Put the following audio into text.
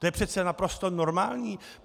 To je přece naprosto normální.